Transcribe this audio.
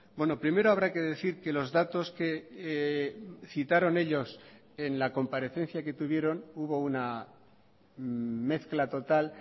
bueno primero habrá que decir que los datos que citaron ellos en la comparecencia que tuvieron hubo una mezcla total